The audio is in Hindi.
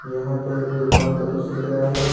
यहां पर एक दुकान का दृश्य दिख रहा है।